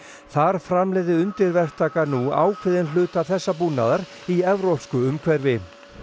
þar framleiði undirverktakar nú ákveðinn hluta þessa búnaðar í evrópsku umhverfi